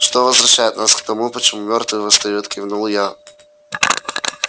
что возвращает нас к тому почему мёртвые восстают кивнул я